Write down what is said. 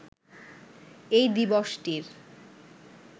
এই দিবসটির